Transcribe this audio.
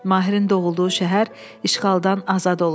Mahirin doğulduğu şəhər işğaldan azad olub.